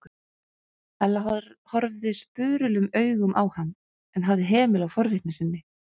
Ella horfði spurulum augum á hann en hafði hemil á forvitni sinni.